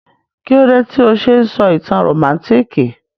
Kílódé tí o se n sọ ìtàn rómántikì?